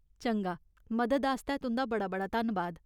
चंगा, मदद आस्तै तुं'दा बड़ा बड़ा धन्नबाद।